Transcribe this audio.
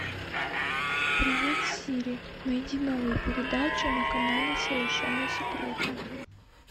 привет сири найди новые передачи на канале совершенно секретно